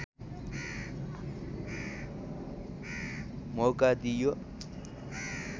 मौका दिइयो